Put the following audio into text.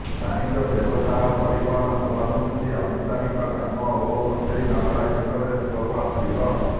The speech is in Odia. ବାଣିଜ୍ୟ ବ୍ୟବସାୟ ପରିବହନ ସଭାସମିତି ଆନୁଷ୍ଠାନିକ କାମ ଓ କଚେରି ମାମଲା କ୍ଷେତ୍ରରୁ ଶୁଭଫଳ ମିଳିବ